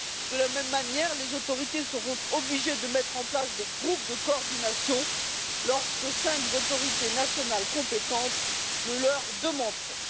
De la même manière, les autorités seront obligées de mettre en place des groupes de coordination lorsque cinq autorités nationales compétentes le leur demanderont.